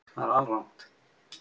Það er alrangt